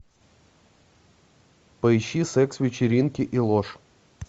поищи секс вечеринки и ложь